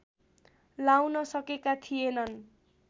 लाउन सकेका थिएनन्